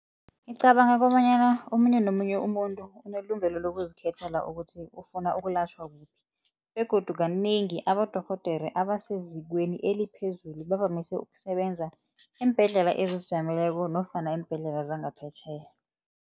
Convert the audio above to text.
Ngicabanga kobanyana omunye nomunye umuntu unelungelo lokuzikhethela ukuthi ufuna ukulatjhwa kuphi begodu kanengi abodorhodere abasezikweni eliphezulu bavamise ukusebenza eembhedlela ezizijameleko nofana iimbhedlela zangaphetjheya.